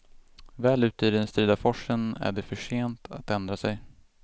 Väl ute i den strida forsen är det för sent att ändra sig.